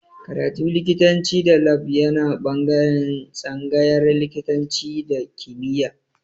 Karatu likitanci da lab yana ɓangaren tsangayar likitanci da kimiya